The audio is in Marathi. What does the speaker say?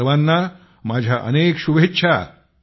आपणा सर्वांना माझ्या अनेक शुभेच्छा